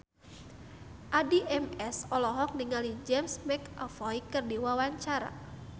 Addie MS olohok ningali James McAvoy keur diwawancara